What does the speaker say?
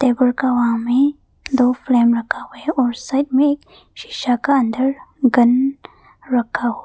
Table का वहा में दो फ्रेम रखा है और साइड में शिशा का अंदर गन रखा हुआ है।